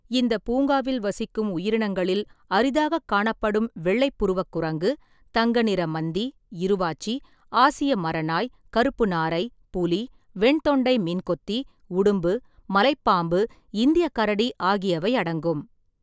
இந்தப் பூங்காவில் வசிக்கும் உயிரினங்களில் அரிதாகக் காணப்படும் வெள்ளைப் புருவக் குரங்கு, தங்க நிற மந்தி, இருவாச்சி, ஆசிய மரநாய், கருப்பு நாரை, புலி, வெண்தொண்டை மீன்கொத்தி, உடும்பு, மலைப் பாம்பு, இந்தியக் கரடி ஆகியவை அடங்கும்.